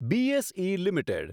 BSE limited